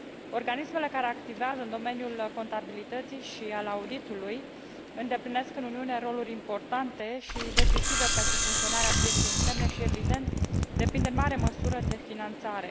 Organismele care activează în domeniul contabilității și al auditului îndeplinesc în Uniune roluri importante și decisive pentru funcționarea pieței interne și, evident, depind în mare măsură de finanțare.